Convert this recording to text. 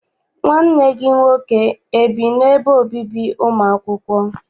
Nwanne gị nwoke ebi n'ebe obibi ụmụ akwụkwọ?